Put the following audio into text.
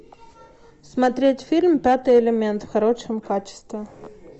смотреть фильм пятый элемент в хорошем качестве